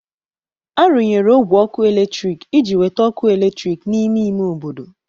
A rụnyere ogwe ọkụ eletrik iji weta ọkụ eletrik n'ime ime obodo.